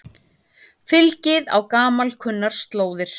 Fylgið á gamalkunnar slóðir